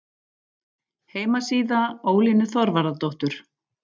Heimasíða Ólínu Þorvarðardóttur